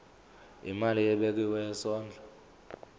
imali ebekiwe yesondlo